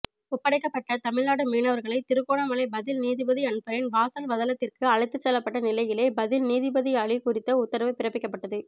ஒப்படைக்கப்பட்ட தமிழ்நாட்டு மீனவர்களை திருகோணமலை பதில் நீதிபதி அன்ஃபரின் வாசல்வதளத்திற்கு அழைத்துச்செல்லப்பட்ட நிலையிலே பதில் நீதிபதியாலி் குறித்த உத்தரவு பிறப்பிக்கப்பட்டது